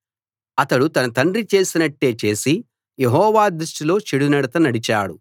అతడు తన తండ్రి చేసినట్టే చేసి యెహోవా దృష్టిలో చెడునడత నడిచాడు